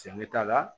Cɛ t'a la